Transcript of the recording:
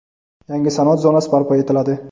yangi sanoat zonasi barpo etiladi.